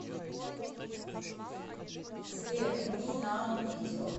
сбер ми нау видео